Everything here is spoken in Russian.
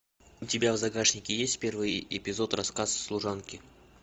у тебя в загашнике есть первый эпизод рассказ служанки